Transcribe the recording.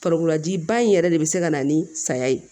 Farikololaji ba in yɛrɛ de be se ka na ni saya ye